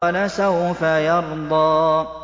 وَلَسَوْفَ يَرْضَىٰ